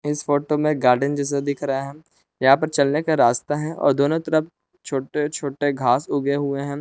इस फोटो में गार्डन जैसा दिख रहा है यहां पर चलने का रास्ता है और दोनों तरफ छोटे छोटे घास उगे हुए हैं।